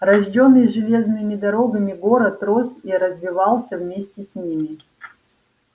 рождённый железными дорогами город рос и развивался вместе с ними